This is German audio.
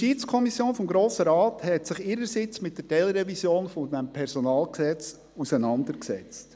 Die JuKo des Grossen Rates hat sich ihrerseits mit der Teilrevision des PG auseinandergesetzt.